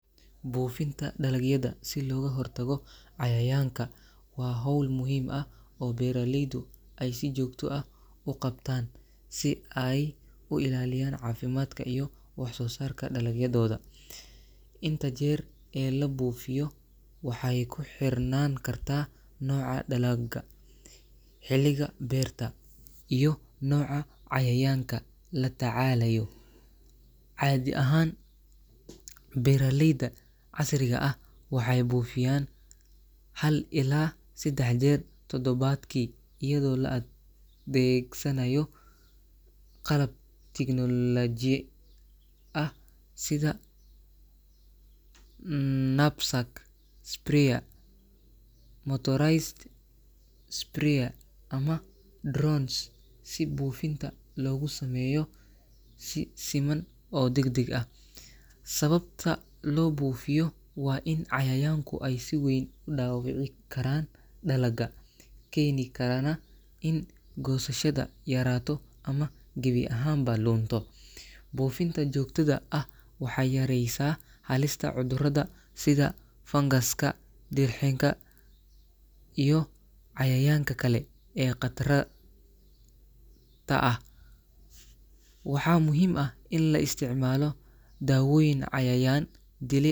Buufinta dalagyada si looga hortago cayayaanka waa hawl muhiim ah oo beeraleydu ay si joogto ah u qabtaan si ay u ilaaliyaan caafimaadka iyo wax-soosaarka dalagyadooda. Inta jeer ee la buufiyo waxay ku xirnaan kartaa nooca dalagga, xilliga beerta, iyo nooca cayayaanka la tacaalayo. Caadi ahaan, beeraleyda casriga ah waxay buufiyaan 1 ilaa 3 jeer toddobaadkii iyadoo la adeegsanayo qalab tignooloji ah sida knapsack sprayer, motorized sprayer ama drones si buufinta loogu sameeyo si siman oo degdeg ah. Sababta loo buufiyo waa in cayayaanku ay si weyn u dhaawici karaan dalagga, keeni karaana in goosashada yaraato ama gebi ahaanba lunto. Buufinta joogtada ah waxay yareysaa halista cudurrada sida fangaska, dirxinga, iyo cayayaanka kale ee khatra ta ah. Waxaa muhiim ah in la isticmaalo dawooyin cayayaan-dile.